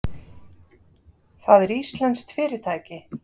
Það er íslenskt fyrirtæki.